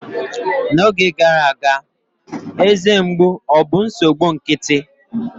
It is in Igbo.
N'oge gara aga, eze mgbu obụ nsogbu nkịtị?